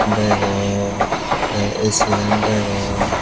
degong te A_C gan degong.